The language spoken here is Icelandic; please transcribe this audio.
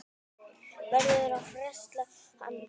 Verður að frelsa hann.